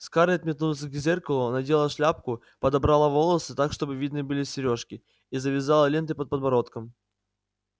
скарлетт метнулась к зеркалу надела шляпку подобрала волосы так чтобы видны были серёжки и завязала ленты под подбородком